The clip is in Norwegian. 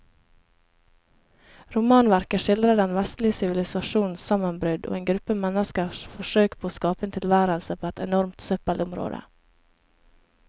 Romanverket skildrer den vestlige sivilisasjons sammenbrudd og en gruppe menneskers forsøk på å skape en tilværelse på et enormt søppelområde.